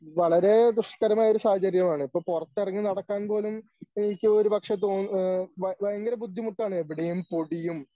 വളരെ ദുഷ്കരമായ ഒരു സാഹചര്യമാണ് ഇപ്പോ പുറത്തിറങ്ങി നടക്കാൻ പോലും ഇപ്പോ എനിക്ക് ഒരുപക്ഷേ തോ ഏഹ് ഭയ ഭയങ്കര ബുദ്ധിമുട്ടാണ് എവിടെയും പൊടിയും